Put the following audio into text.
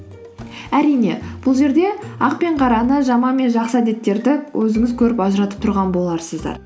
әрине бұл жерде ақ пен қараны жаман мен жақсы әдеттерді өзіңіз көріп ажыратып тұрған боларсыздар